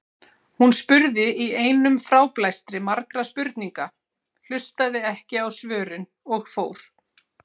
Hún spurði í einum fráblæstri margra spurninga, hlustaði ekki á svörin og fór.